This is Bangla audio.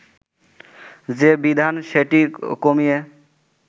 যে বিধান সেটি কমিয়ে